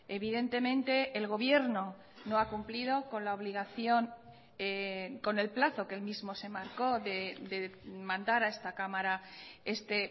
evidentemente el gobierno no ha cumplido con la obligación con el plazo que él mismo se marcó de mandar a esta cámara este